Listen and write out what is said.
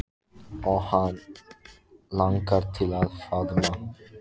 Og hana langar til að faðma